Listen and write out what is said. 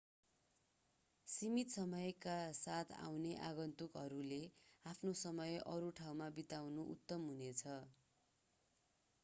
सीमित समयका साथ आउने आगन्तुकहरूले आफ्नो समय अरू ठाउँमा बिताउनु उत्तम हुनेछ